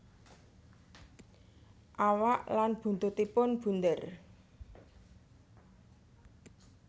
Awak lan buntutipun bunder